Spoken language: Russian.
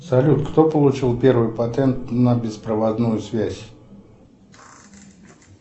салют кто получил первый патент на беспроводную связь